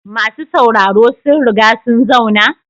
Masu sauraro sun riga sun zauna?